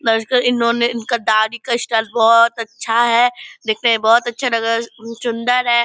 इन्होने इनका दाढ़ी का स्टाइल बहोत अच्छा है दिखने में बहोत अच्छा लग रहा है सुंदर है ।